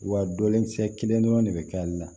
Wa dɔlenkisɛ kelen dɔrɔn de bɛ k'ale la